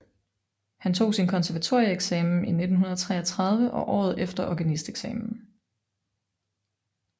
Han tog sin konservatorieeksamen i 1933 og året efter organisteksamen